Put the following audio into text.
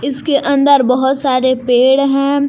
इसके अंदर बहोत सारे पेड़ हैं।